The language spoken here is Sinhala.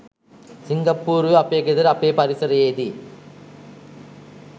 සිංගප්පූරුවෙ අපේ ගෙදර අපේ පරිසරයේදී